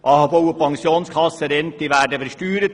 AHV- und Pensionskassenrenten werden versteuert.